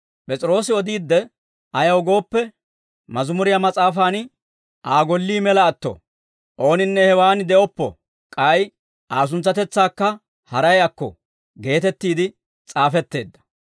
P'es'iroosi odiidde, Ayaw gooppe, Mazimuriyaa Mas'aafaan, Aa gollii mela atto; ooninne hewaan de'oppo k'ay Aa suntsatetsaakka haray akko geetettiide s'aafetteedda.